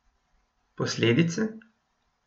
Posledice?